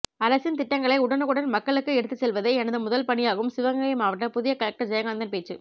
அரசின் திட்டங்களை உடனுக்குடன் மக்களுக்கு எடுத்து செல்வதே எனது முதல் பணியாகும் சிவகங்கை மாவட்ட புதிய கலெக்டர் ஜெயகாந்தன் பேச்சு